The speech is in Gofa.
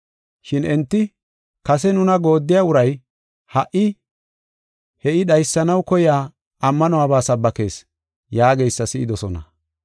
Shin enti, “Kase nuna gooddiya uray, ha77i he I dhaysanaw koyiya ammanuwaba sabbakees” yaageysa si7idosona.